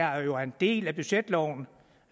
jo er en del af budgetloven